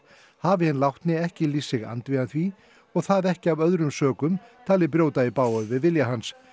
hafi hinn látni ekki lýst sig andvígan því og það ekki af öðrum sökum talið brjóta í bága við vilja hans